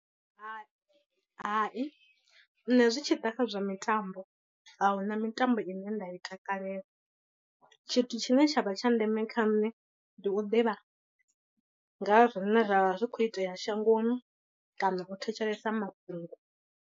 Hai, hai, nṋe zwi tshi ḓa kha zwa mitambo ahuna mitambo ine nda i takalela, tshithu tshine tsha vha tsha ndeme kha nṋe ndi u ḓivha nga ha zwine zwavha zwi khou itea shangoni kana u thetshelesa mafhungo.